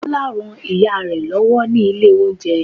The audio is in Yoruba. bola rán ìyare lòwó ní ilé oúnjẹ